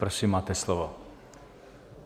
Prosím, máte slovo.